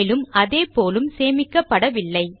மேலும் அதே போலும் சேமிக்கப்படவில்லை